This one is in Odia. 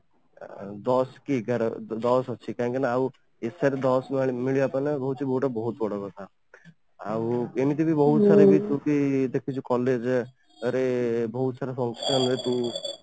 ଦଶ କି ଏଗାର ଦଶ ଅଛି କାହିଁକି ନା ଆଉ essay ରେ ଦଶ ମିଳିବାକୁ ଗଲେ ମାନେ ବହୁତ ବଡ କଥା ଆଉ ଏମିତି ବି ବହୁତ ସାରା ଦେଖୁଛି college ରେ ବହୁତ ସାରା function ରେ ତୁ